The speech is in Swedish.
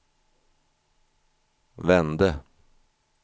vände